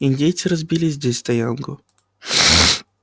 индейцы разбили здесь стоянку